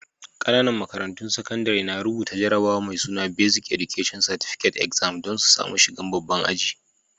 Ƙananan makarantun sakandare na rubuta jarabawa mai suna Basic Education Certificate Exam dan su samu shigan babban ajin.